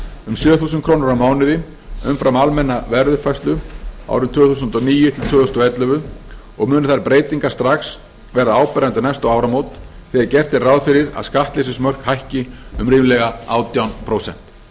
um sjö þúsund krónur á mánuði umfram almenna verðuppfærslu árin tvö þúsund og níu til tvö þúsund og ellefu og munu þær breytingar strax verða áberandi um næstu áramót þegar gert er ráð fyrir að skattleysismörk hækki um ríflega átján prósent